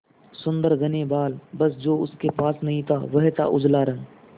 सुंदर घने बाल बस जो उसके पास नहीं था वह था उजला रंग